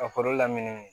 Ka kɔrɔ lamini